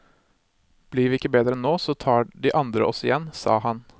Blir vi ikke bedre nå, så tar de andre oss igjen, sa han.